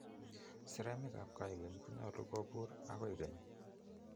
Saremik ab koigeng konyolu kobuur akoikeny